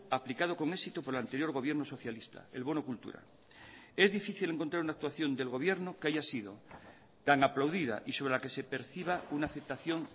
aplicado con éxito por el anterior gobierno socialista el bono cultura es difícil encontrar una actuación del gobierno que haya sido tan aplaudida y sobre la que se perciba una aceptación